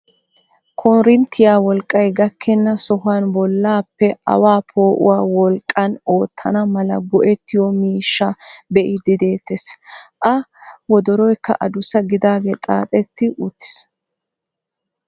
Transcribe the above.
Konittiyaa wolqqay gakkena sohuwaan bollappe awaa po'uwaa wolqqaan oottana mala go"ettiyoo miishshaa be'iidi de'ettees. a wodoroykka adussa gidaagee xaaxetti uttiis.